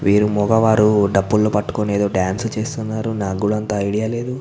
వీరు ముగావరు డప్పులు ని పట్టుకొని ఎదో డాన్స్ చేస్తున్నారు నాకు కూడా అంత ఐడియా లేదు.